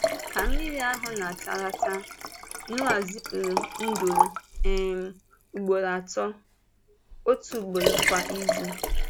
Ka mmiri ahụ na-atalata, Nọ́à zipụrụ nduru um ugboro atọ — otu ugboro kwa izu.